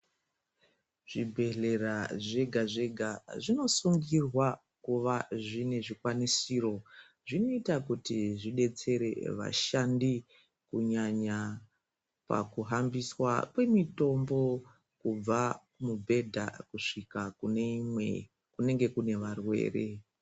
Zvibhehlera zvega zvega zvinosungirwa kuva zvine zvikwanisiro zvinoita kuti zvidetsere vashandi kunyanya pakuhambiswa kwemitombo kubva mubhedha kusvika kune imwe kunenga kune varwere.